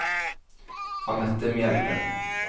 Annette Mjelde